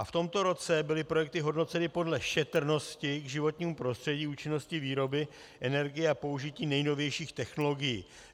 A v tomto roce byly projekty hodnoceny podle šetrnosti k životnímu prostředí, účinnosti výroby energie a použití nejnovějších technologií.